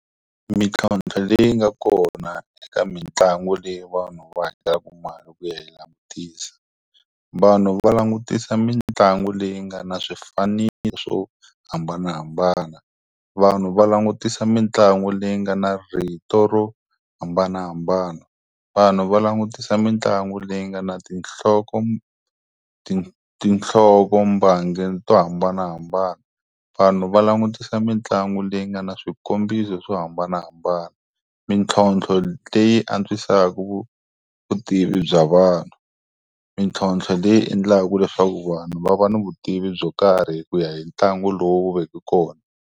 Mintlhotlho leyi nga kona eka mitlangu leyi vanhu va hakelaka mali ku ya yi langutisa. Vanhu va langutisa mitlangu leyi nga na swifaniso swo hambanahambana. Vanhu va langutisa mitlangu leyi nga na rito ro hambanahambana. Vanhu va langutisa mitlangu leyi nga na tinhloko ti tinhloko mbangi to hambanahambana. Vanhu va langutisa mitlangu leyi nga na swikombiso swo hambanahambana. Mintlhotlho leyi antswisaku vutivi bya vanhu. Mintlhotlho leyi endlaka leswaku vanhu va va ni vutivi byo karhi hi ku ya hi ntlangu lowu veke kona.